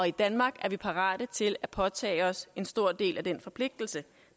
i danmark er parate til at påtage os en stor del af den forpligtelse